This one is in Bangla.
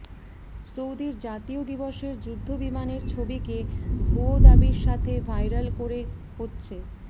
সৌদির জাতীয় দিবসের যুদ্ধবিমানের ছবিকে ভুয়ো দাবির সাথে ভাইরাল করে হচ্ছে